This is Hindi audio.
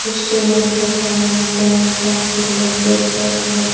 स्टेनरी का सामान पेन पेंसिल शार्पनर --